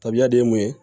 Tabiya de ye mun ye